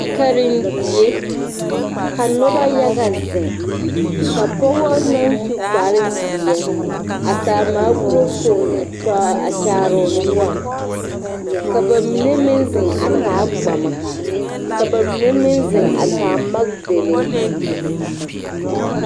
Karendie ka noba yaga zeŋ ka pɔga naŋ su kpare zeɛ a taa microphone a kyaare o noɔre ka ba mine meŋ zeŋ a taa gbama ka ba mine meŋ zeŋ a taa magedalee